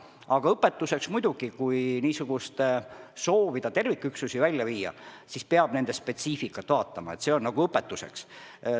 Aga muidugi, kui soovida terviküksusi välja viia, siis peab nende spetsiifikat arvestama – see on nagu õpetuseks.